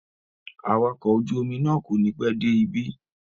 Awakọ̀ ojú-omi náà kò ní pẹ́ dé ibí.